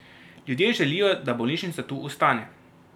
Ljudje želijo, da bolnišnica tu ostane.